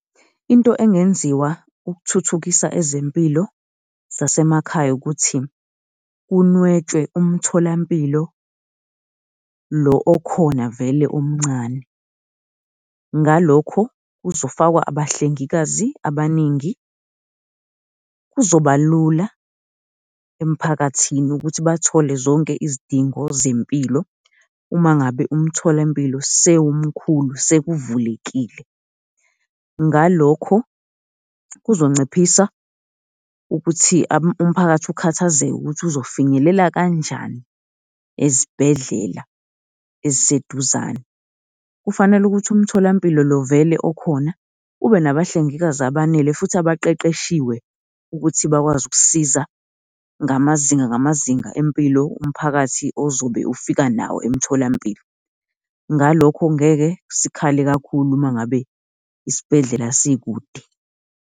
Into engenziwa ukuthuthukisa ezempilo zasemakhaya ukuthi, kunwetshwe umtholampilo lo okhona vele omncane. Ngalokho kuzofakwa abahlengikazi abaningi kuzobalula emiphakathini ukuthi bathole zonke izidingo zempilo uma ngabe umtholampilo sewumkhulu sekuvulekile. Ngalokho kuzonciphisa ukuthi umphakathi ukhathazeke ukuthi uzofinyelela kanjani ezibhedlela eziseduzane. Kufanele ukuthi umtholampilo lo vele okhona ube nabahlengikazi abanele futhi abaqeqeshiwe ukuthi bakwazi ukusiza ngamazinga ngamazinga empilo umphakathi ozobe ufika nawo emtholampilo, ngalokho ngeke sikhale kakhulu uma ngabe isibhedlela sikude.